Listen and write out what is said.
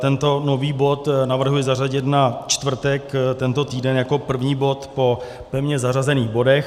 Tento nový bod navrhuji zařadit na čtvrtek tento týden jako první bod po pevně zařazených bodech.